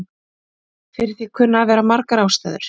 Fyrir því kunna að vera margar ástæður.